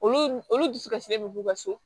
Olu olu dusu kasilen bɛ k'u ka so